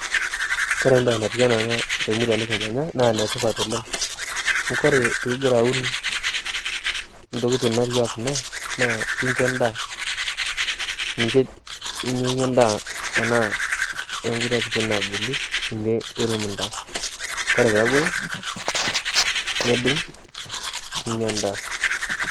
Kore mbaye natiu anaa ana te murua nikimanya naa netipat oleng. Kore piigira aun ntikitin natiwuaa kuna naa kincho indaa. Ninche inyeiye indaa to nkule nkatitin naaponu, ninye irum indaa. Kore peaku eo nidung' ninya indaa.